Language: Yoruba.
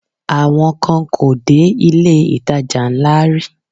Àwọn kan kò dé ilé-ìtajà ńlá rí